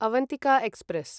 Avantika express